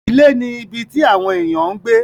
Ilé ni ibi tí àwon ènìyàn ń gbé